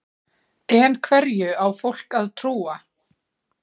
En hverju á fólk að trúa?